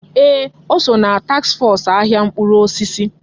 Ee! O so ná taks fọs ahịa mkpụrụ osisi.